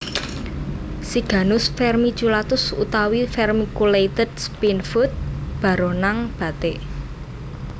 Siganus Vermiculatus utawi vermiculated Spinefoot baronang batik